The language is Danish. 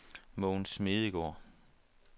Mogens Smedegaard